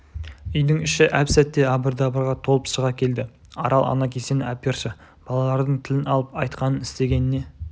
үйдің іші әп-сәтте абыр-дабырға толып шыға келді арал ана кесені әперші балалардың тілін алып айтқанын істегеніне